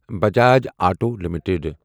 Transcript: Bajaj auto limited